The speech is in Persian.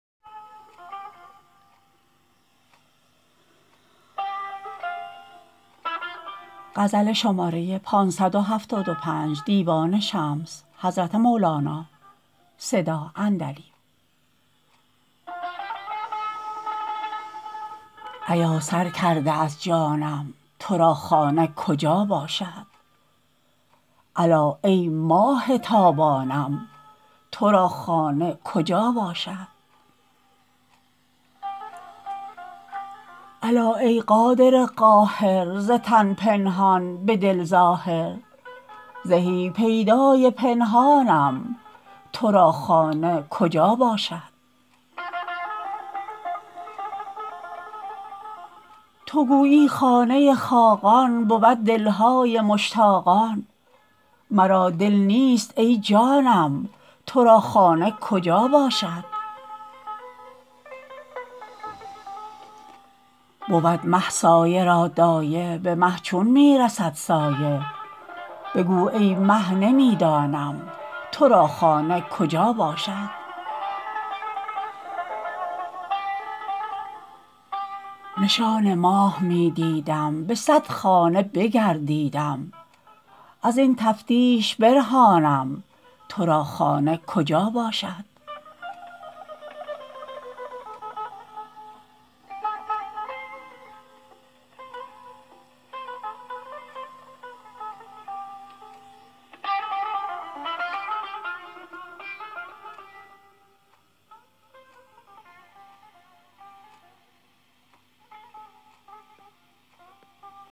ایا سر کرده از جانم تو را خانه کجا باشد الا ای ماه تابانم تو را خانه کجا باشد الا ای قادر قاهر ز تن پنهان به دل ظاهر زهی پیدای پنهانم تو را خانه کجا باشد تو گویی خانه خاقان بود دل های مشتاقان مرا دل نیست ای جانم تو را خانه کجا باشد بود مه سایه را دایه به مه چون می رسد سایه بگو ای مه نمی دانم تو را خانه کجا باشد نشان ماه می دیدم به صد خانه بگردیدم از این تفتیش برهانم تو را خانه کجا باشد